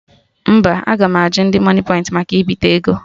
Mba, aga m ajụ ndị moniepoint maka ibite ego